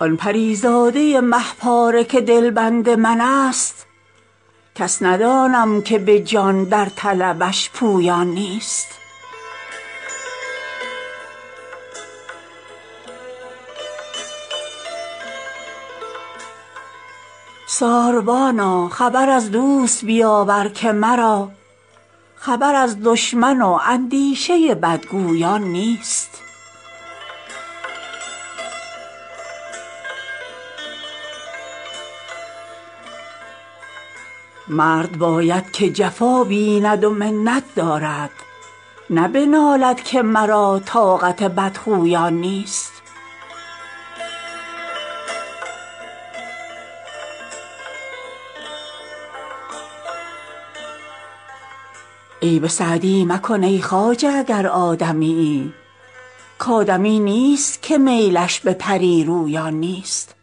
آن پری زاده مه پاره که دلبند من ست کس ندانم که به جان در طلبش پویان نیست ساربانا خبر از دوست بیاور که مرا خبر از دشمن و اندیشه بدگویان نیست مرد باید که جفا بیند و منت دارد نه بنالد که مرا طاقت بدخویان نیست عیب سعدی مکن ای خواجه اگر آدمیی کآدمی نیست که میلش به پری رویان نیست